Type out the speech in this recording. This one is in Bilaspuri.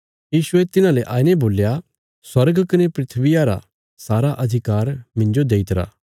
यीशुये तिन्हांले आईने बोल्या स्वर्ग कने धरतिया रा सारा अधिकार मिन्जो देई दित्तिरा